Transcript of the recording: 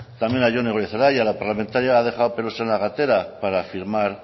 también a jone goirizelaia la parlamentaria ha dejado pelos en la gatera para firmar